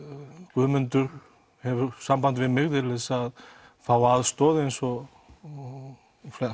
Guðmundur hefur samband við mig til þess að fá aðstoð eins og